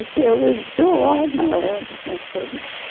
Até hoje estou lá na nessa